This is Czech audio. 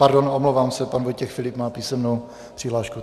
Pardon, omlouvám se, pan Vojtěch Filip má písemnou přihlášku.